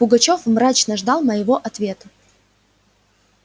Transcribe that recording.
пугачёв мрачно ждал моего ответа